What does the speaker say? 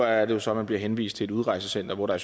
er det jo så man bliver henvist til et udrejsecenter hvor der